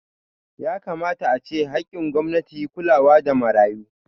Yakamata ace haƙƙin gwamnati kulawa da marayu